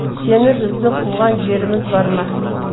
сені біздің қуған жеріміз бар ма